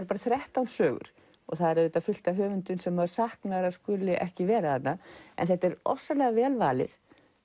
bara þrettán sögur og það er auðvitað fullt af höfundum sem maður saknar að skuli ekki vera þarna en þetta er ofsalega vel valið